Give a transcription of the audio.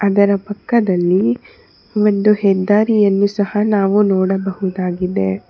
ಅದರ ಪಕ್ಕದಲ್ಲಿ ಒಂದು ಹೆದ್ದಾರಿಯನ್ನು ಸಹ ನಾವು ನೋಡಬಹುದಾಗಿದೆ.